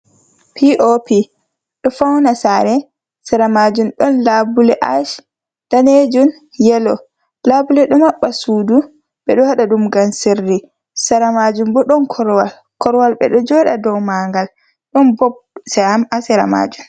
P. O. P. ƊO fauna sare, sera majum ɗon labule ash, danejum, yelo. Labuleji ɗo mabba sudu ɓe ɗo haɗa ɗum ngam sirri. Sera majum bo ɗon korwal. Korwal ɓe ɗo joɗa dow mangal ɗon bob ha sera majum.